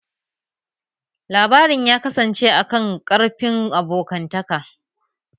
Labarin ya kasance a kan ƙarfin abokantaka